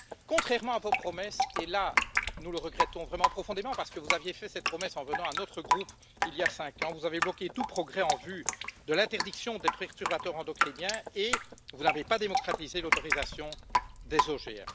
Contrairement à vos promesses, et là nous le regrettons vraiment profondément, parce que vous aviez fait cette promesse en venant devant notre groupe, il y a cinq ans, vous avez bloqué tout progrès en vue de l'interdiction des perturbateurs endocriniens et vous n'avez pas démocratisé l'autorisation des OGM.